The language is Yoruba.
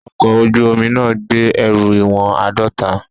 Ọkọ̀ ojú omi náà gbé ẹrù ìwọ̀n àádọ́ta.